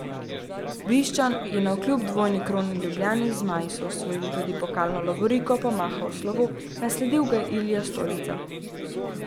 Bišćan je navkljub dvojni kroni Ljubljani, zmaji so osvojili tudi pokalno lovoriko, pomahal v slovo, nasledil ga je Ilija Stolica.